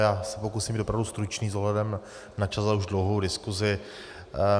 Já se pokusím být opravdu stručný s ohledem na čas a už dlouhou diskuzi.